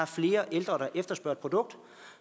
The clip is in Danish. flere ældre der efterspørger et produkt